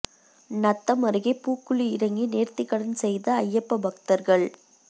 நத்தம் அருகே பூக்குழி இறங்கி நேர்த்திக்கடன் செய்த அய்யப்ப பக்தர்கள்